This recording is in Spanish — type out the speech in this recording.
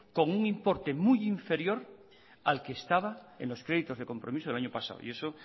con un importe muy inferior al que estaba en los créditos de compromiso del año pasado y eso